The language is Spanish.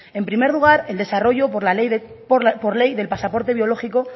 en primer el desarrollo por ley del pasaporte biológico